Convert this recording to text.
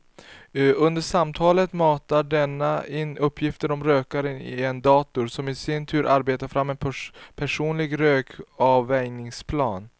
Under samtalet matar denna in uppgifter om rökaren i en dator som i sin tur arbetar fram en personlig rökavvänjningsplan.